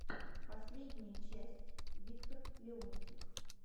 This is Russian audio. последняя часть виктор леонтьев